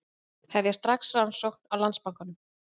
Hefja strax rannsókn á Landsbankanum